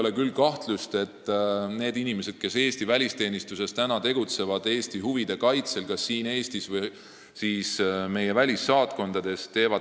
Ma küll ei kahtle nendes inimestes, kes praegu tegutsevad Eesti välisteenistuses meie huvide kaitsel kas siin Eestis või meie välissaatkondades.